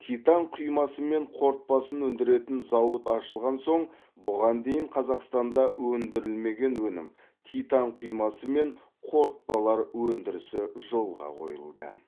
титан құймасы мен қорытпасын өндіретін зауыт ашылған соң бұған дейін қазақстанда өндірілмеген өнім титан құймасы мен қорытпалар өндірісі жолға қойылды